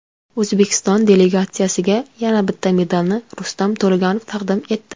O‘zbekiston delegatsiyasiga yana bitta medalni Rustam To‘laganov taqdim etdi.